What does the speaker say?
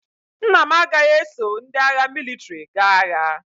Nna m agaghị eso ndị agha mịlịtrị gaa agha.